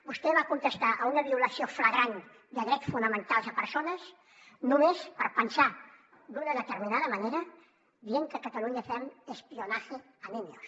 vostè va contestar a una violació flagrant de drets fonamentals de persones només per pensar d’una determinada manera dient que a catalunya fem espionaje a niños